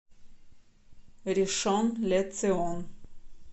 ришон ле цион